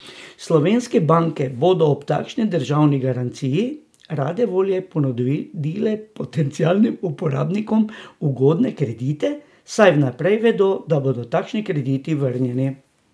Slovenske banke bodo ob takšni državni garanciji rade volje ponudile potencialnim uporabnikom ugodne kredite, saj vnaprej vedo, da bodo takšni krediti vrnjeni.